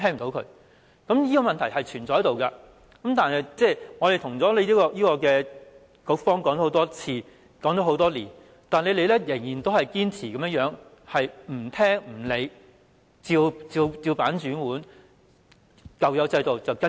這問題一直存在，我們多年來多次告知局方，但局方仍然堅持不聽取、不理會、"照辦煮碗"，只依循舊有的制度做事。